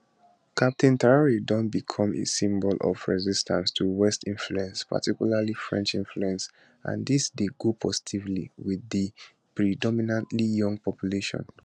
captain traor don becom a symbol of resistance to western influence particularly french influence and dis dey go positively wit di predominantly young population